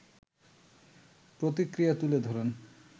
প্রতিক্রিয়া তুলে ধরেন